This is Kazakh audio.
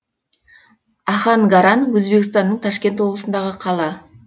ахангаран өзбекстанның ташкент облысындағы қала